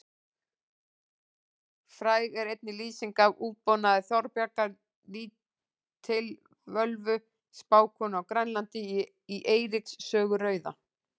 Fræg er einnig lýsing af útbúnaði Þorbjargar lítilvölvu spákonu á Grænlandi í Eiríks sögu rauða.